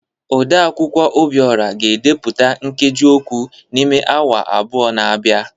Odeakwụkwọ Obiora ga-edepụta nkeji okwu n’ime awa abụọ na-abịa